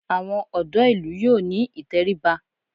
Àwọn ọ̀dọ́ ìlú yóò ní ìtẹríba